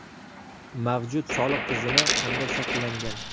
Mavjud soliq tizimi qanday shakllangan?